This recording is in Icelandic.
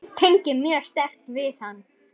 Tengi mjög sterkt við hann.